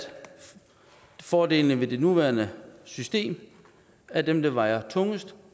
fordelene ved det nuværende system er dem der vejer tungest